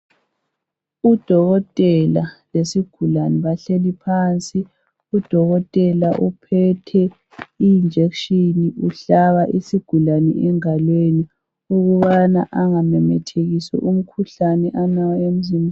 Udokotela lesigulani bahleli phansi udokotela uphethe injection uhlaba isigulane engalweni ukabana engamemethekisi umkhuhlane alawo emzimbeni.